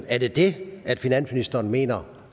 er det det finansministeren mener